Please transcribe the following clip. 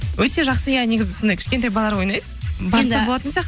өте жақсы иә негізі сондай кішкентай балалар ойнайды барса болатын